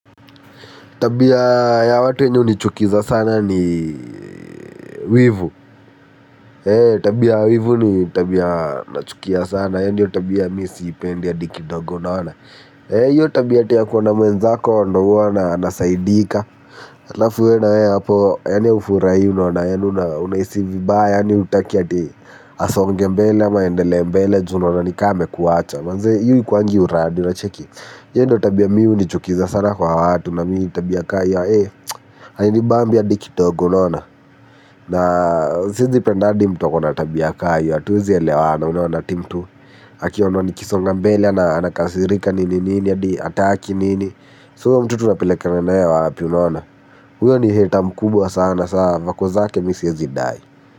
Tabia ya watu inayo nichukiza sana ni wivu. Tabia wivu ni tabia nachukia sana. Yani hiyo tabia misiipendi hata kidogo unaona hiyo tabia tuya kuona mwenzako ndo huwa anasaidika alafu wewe hapo yani hufurahii unaona yani unahisi vibaya yani utaki eti asonge mbele ama endelee mbele juunaona nikama amekuacha. Manzee hii kwangu uradi unacheki iyo ndo tabia mimi hunichukiza sana kwa watu na mimi tabia kama hii ee hainibambi hadi kidogo unaona na sijipendeagi mtu akona tabia kama iyo hatuwezi elewana unaona eti mtu akiaona nikisonga mbele na anakasirika nini nini hadi hataki nini sasa mtu tunapelekana nae wapi unaona huyo ni hater mkubwa sana sa voko zake misiwe zidai.